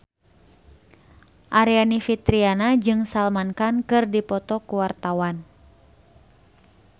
Aryani Fitriana jeung Salman Khan keur dipoto ku wartawan